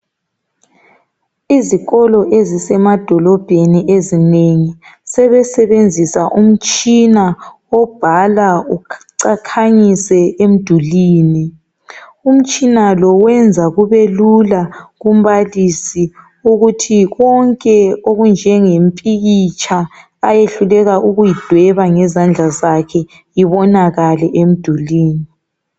izikolo ezisema dolobheni ezinengi sebenzisa umtshina obhala ukhanyise emdulwini, umtshina lowenza kubelula kumbalisi ukuthi konke okunje ngempikitsha ayehluleka ukuyideba ngezandla zakhe ibonakale emdulwini